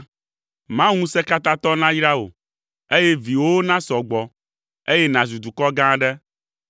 Mawu Ŋusẽkatãtɔ nayra wò, ana viwòwo nasɔ gbɔ, eye nàzu dukɔ gã aɖe!